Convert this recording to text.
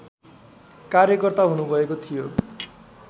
कार्यकर्ता हुनुभएको थियो